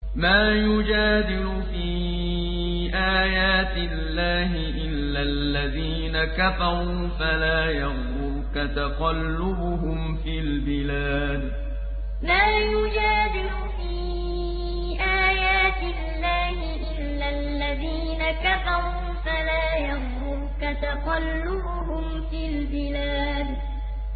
مَا يُجَادِلُ فِي آيَاتِ اللَّهِ إِلَّا الَّذِينَ كَفَرُوا فَلَا يَغْرُرْكَ تَقَلُّبُهُمْ فِي الْبِلَادِ مَا يُجَادِلُ فِي آيَاتِ اللَّهِ إِلَّا الَّذِينَ كَفَرُوا فَلَا يَغْرُرْكَ تَقَلُّبُهُمْ فِي الْبِلَادِ